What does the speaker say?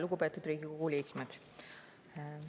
Lugupeetud Riigikogu liikmed!